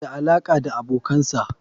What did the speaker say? muna da alaƙa ta abokansa.